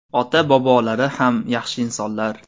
Ota-bobolari ham yaxshi insonlar.